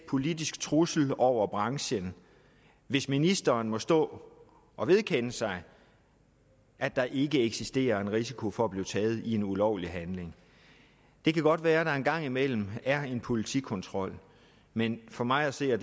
politisk trussel over branchen hvis ministeren må stå og vedkende sig at der ikke eksisterer en risiko for at blive taget i en ulovlig handling det kan godt være at der en gang imellem er en politikontrol men for mig at se er